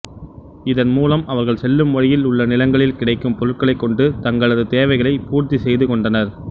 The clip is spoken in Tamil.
இதன் மூலம் அவர்கள் செல்லும் வழியில் உள்ள நிலங்களில் கிடைக்கும் பொருட்களை கொண்டு தங்களது தேவைகளை பூர்த்தி செய்து கொண்டனர்